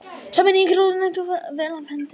Sameining ráðuneyta vel af hendi leyst